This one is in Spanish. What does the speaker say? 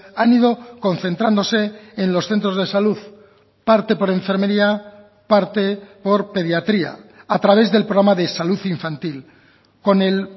han ido concentrándose en los centros de salud parte por enfermería parte por pediatría a través del programa de salud infantil con el